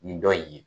Nin dɔ in ye